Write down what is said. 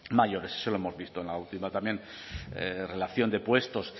mayores y eso lo hemos visto en la última también relación de puestos